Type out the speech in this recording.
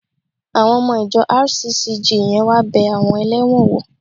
Àwọn ọmọ ìjọ RCCG yẹn wá bẹ àwọn ẹlẹ́wọ̀n wò